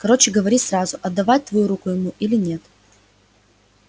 короче говори сразу отдавать твою руку ему или нет